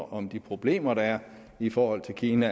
om de problemer der er i forhold til kina